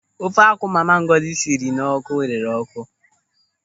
Ofe akwụ mama Ngọzi sinyere n'ọ́kụ́ rere ọ́kụ́.